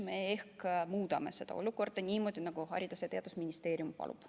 Me muudame seda olukorda niimoodi, nagu Haridus- ja Teadusministeerium palub.